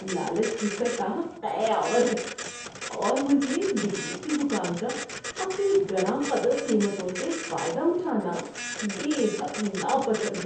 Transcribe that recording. لالچ کی سطح قے آور ہے، اور مجھے بجلی کی دکان کا اپنی گراں قدر قیمتوں سے فائدہ اٹھانا بے حد ناپسند ہے۔